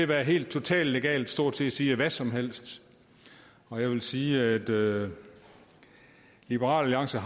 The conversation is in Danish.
det helt totalt legalt stort set at sige hvad som helst jeg vil sige at liberal alliance